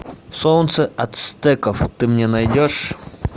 солнце ацтеков ты мне найдешь